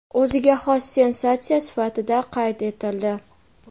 o‘ziga xos sensatsiya sifatida qayd etildi.